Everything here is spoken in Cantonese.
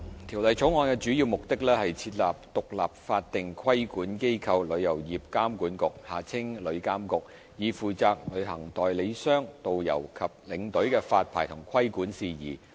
《條例草案》的主要目的，是設立獨立法定規管機構——旅遊業監管局，以負責旅行代理商、導遊和領隊的發牌和規管事宜。